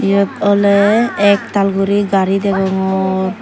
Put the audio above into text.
yot oley ektal guri gari degongor.